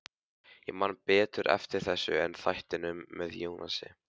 Ég man betur eftir þessu en þættinum með Jónasi.